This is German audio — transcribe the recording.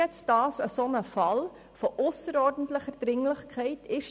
Ist das nun ein solcher Fall, für den dieses Instrument gedacht ist?